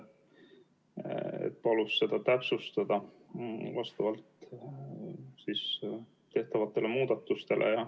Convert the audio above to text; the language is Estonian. Ta palus seda täpsustada vastavalt tehtavatele muudatustele.